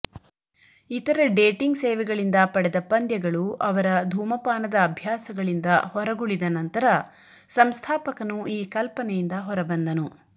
ಇತರ ಡೇಟಿಂಗ್ ಸೇವೆಗಳಿಂದ ಪಡೆದ ಪಂದ್ಯಗಳು ಅವರ ಧೂಮಪಾನದ ಅಭ್ಯಾಸಗಳಿಂದ ಹೊರಗುಳಿದ ನಂತರ ಸಂಸ್ಥಾಪಕನು ಈ ಕಲ್ಪನೆಯಿಂದ ಹೊರಬಂದನು